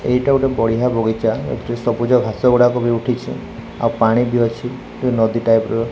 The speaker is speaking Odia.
ଏଇଟା ଗୋଟେ ବଢ଼ିଆ ବଗିଚା ଏଥିରେ ସବୁଜ ଘାସ ଗୁଡ଼ାକ ବି ଉଠିଛି ଆଉ ପାଣି ବି ଅଛି ଏ ନଦୀ ଟାଇପ୍ ର।